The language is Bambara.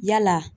Yala